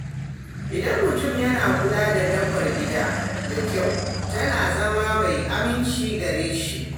Idan mutum yana kula da dabbar gida da kyau, tana zama mai aminci gare shi.